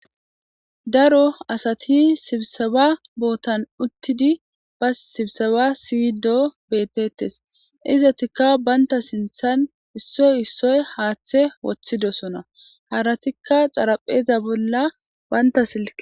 Daro asati sibseba bootan uttidi ba sibsawa siy doo betetes izatikka baynta sinthan issoy issoy haaththe woththidosona haratikka xarapheza bolla banta silke.